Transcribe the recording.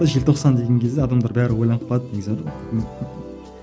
желтоқсан деген кезде адамдар бәрі ойланып қалады негізі